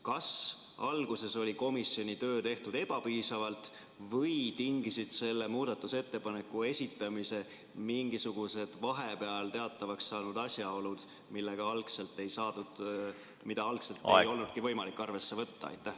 Kas alguses oli komisjoni tööd tehtud ebapiisavalt või tingisid selle muudatusettepaneku esitamise mingisugused vahepeal teatavaks saanud asjaolud, mida algselt ei olnudki võimalik arvesse võtta?